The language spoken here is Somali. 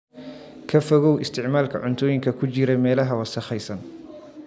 Ka fogow isticmaalka cuntooyinka ku jiray meelaha wasakhaysan.